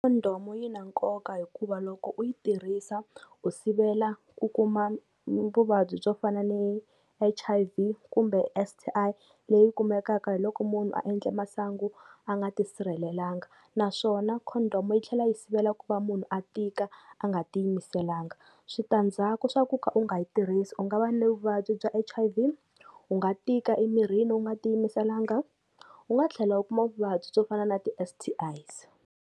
Condom-u yi na nkoka hikuva loko u yi tirhisa, u sivela ku kuma vuvabyi byo fana ni H_I_V kumbe S_T_I leyi kumekaka hi loko munhu a endle masangu a nga ti sirhelelanga, naswona condom-u yi tlhela yi sivela ku va munhu a tika a nga ti yimiselanga. Switandzhaku swa ku ka u nga yi tirhisi u nga va ni vuvabyi bya H_I_V, u nga tika emirini u nga tiyimiselanga, u nga tlhela u kuma vuvabyi byo fana na ti-S_T_Is.